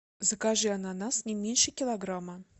закажи ананас не меньше килограмма